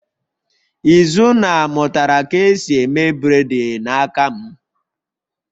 Izunna mutara ka esi eme bred n'aka m